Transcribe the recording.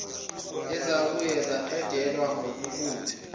ezabuye zaqedelwa ngabuholi